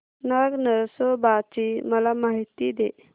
नाग नरसोबा ची मला माहिती दे